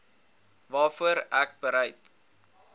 waarvoor ek bereid